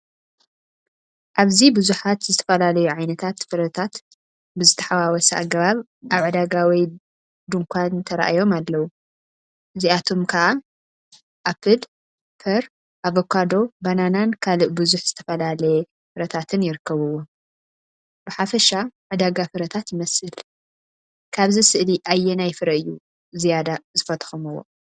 ኣብዚ ብዙሓት ዝተፈላለዩ ዓይነታት ፍረታት ብዝተሓዋወሰ ኣገባብ ኣብ ዕዳጋ ወይ ድኳን ተራእዮም ኣለዉ። እዚኣቶም ካ ኣፕል፡ ፐር፡ ኣቮካዶ፡ ባናናን ካልእ ብዙሕ ዝተፈላለየ ፍረታትን ይርከብዎም። ብሓፈሻ ዕዳጋ ፍረታት ይመስል። ካብዛ ስእሊ ኣየናይ ፍረ እዩ ዝያዳ ዝፈተኹምዎ?